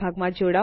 હમણાં માટે આવજો